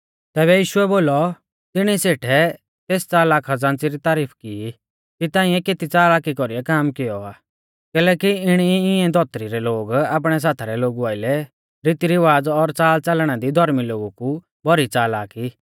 तैबै यीशुऐ बोलौ तिणी सेठै तेस च़लाक खज़ान्च़ी री तारीफ की कि तांऐ केती च़ालाकी कौरीऐ काम कियौ आ कैलैकि इणी ई इंऐ धौतरी रै लोग आपणै साथा रै लोगु आइलै रीतीरिवाज़ा और च़ालच़ालना दी धौर्मी लोगु कु भौरी च़लाक ई